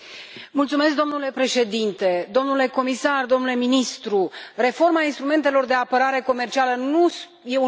Domnule președinte, domnule comisar, domnule ministru, reforma instrumentelor de apărare comercială nu e un moft.